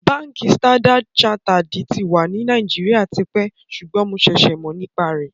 Bánkì Standard-Charterèdì tì wà ní Nàìjíríà tìpẹ́ sùgbọ́n mó ǹṣèṣè mó nípá rẹ.